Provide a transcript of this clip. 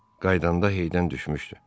Qayıdanda heydən düşmüşdü.